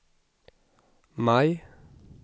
maj